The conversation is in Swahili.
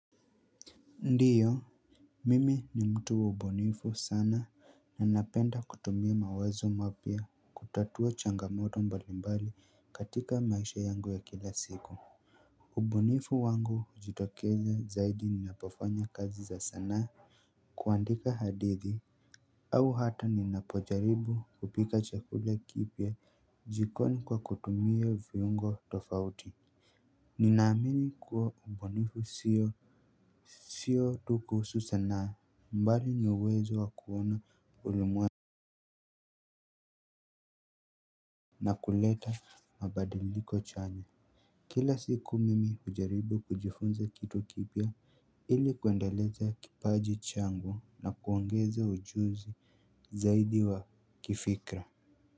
Ndio mimi ni mtu wa ubunifu sana na napenda kutumia mawazo mapya kutatua changamoto mbalimbali katika maisha yangu ya kila siku. Ubunifu wangu hujitokeza zaidi ninapofanya kazi za sanaa kuandika hadithi. Au hata ninapojaribu kupika chakula kipya jikoni kwa kutumia viungo tofauti. Ninaamini kuwa ubunifu sio sio tu kuhusu sanaa. Mbali ni uwezo wa kuona ulemwe na na kuleta mabadiliko chanya. Kila siku mimi hujaribu kujifunza kitu kipya ili kuendeleza kipaji changu na kuongeza ujuzi zaidi wa kifikra.